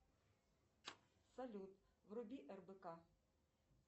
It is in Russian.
салют вруби рбк